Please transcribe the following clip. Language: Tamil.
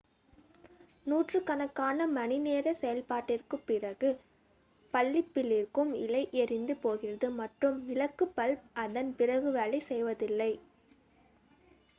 நூற்றுக்கணக்கான மணிநேர செயல்பாட்டிற்குப் பிறகு பல்பிலிருக்கும் இழை எரிந்து போகிறது மற்றும் விளக்கு பல்ப் அதன் பிறகு வேலை செய்வதில்லை